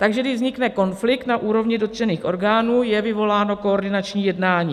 Takže když vznikne konflikt na úrovni dotčených orgánů, je vyvoláno koordinační jednání.